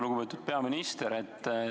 Lugupeetud peaminister!